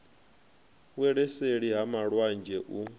wele seli ha malwanzhe u